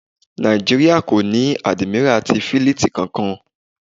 Nàìjíríà kò ní Àdìmírà ti Fílítìì kankan.